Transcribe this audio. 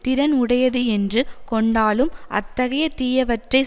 திறன் உடையது என்று கொண்டாலும் அத்தகைய தீயவற்றைச்